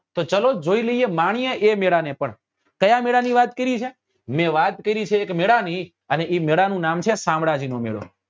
તો ચલો જોઈ લઈએ માણીયે એ મેળા ને પણ કયા મેળા ની વાત કરી છે મે વાત કરી છે એક મેળા ની અને એ મેળો છે શામળાજી નો મેળો